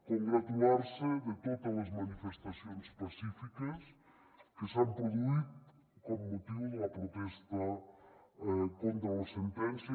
congratular se de totes les manifestacions pacífiques que s’han produït amb motiu de la protesta contra la sentència